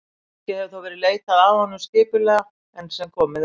ekki hefur þó verið leitað að honum skipulega enn sem komið er